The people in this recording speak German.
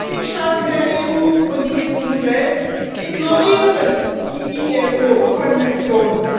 Die Mitgliedstaaten der EU und die EU selbst ignorieren die IAO Konventionen